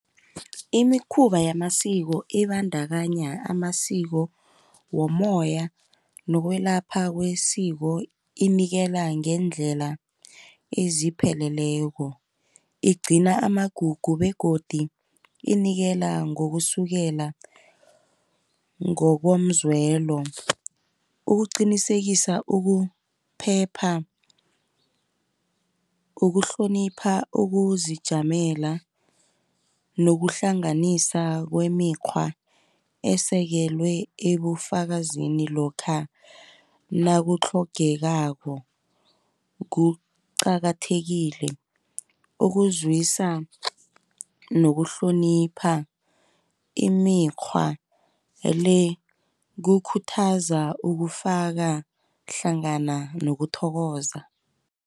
Imikhumba yamasiko ibandakanye amasiko womoya nokwelapha kwesiko inikela ngeendlela ezipheleleko. Igcina amagugu begodu inikela ngokusukela ngokomzwelo, ukuqinisekisa ukuphepha, ukuhlonipha, ukuzijamela, nokuhlanganisa kwemikghwa esekelwe ebufakazini lokha nakutlhogekako. Kuqakathekile ukuzwisa nokuhlonipha imikghwa le, kukhuthaza ukufaka hlangana nokuthokoza.